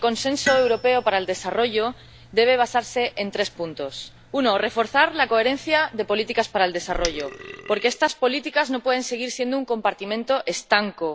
Entonces, el Consenso Europeo sobre Desarrollo debe basarse en tres puntos. Uno, reforzar la coherencia de las políticas para el desarrollo, porque estas políticas no pueden seguir siendo un compartimento estanco.